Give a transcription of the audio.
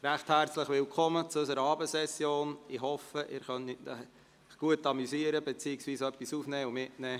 Sie haben auch die Ziffer 4 abgelehnt mit 87 Nein- gegen 55 Ja-Stimmen bei 7 Enthaltungen.